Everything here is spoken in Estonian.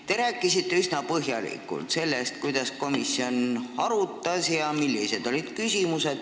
Te rääkisite üsna põhjalikult sellest, mida komisjon arutas ja millised olid küsimused.